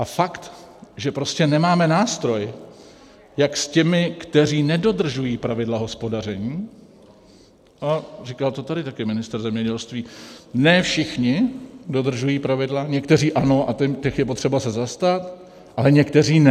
A fakt, že prostě nemáme nástroj, jak s těmi, kteří nedodržují pravidla hospodaření - a říkal to tady taky ministr zemědělství, ne všichni dodržují pravidla, někteří ano a těch je potřeba se zastat, ale někteří ne...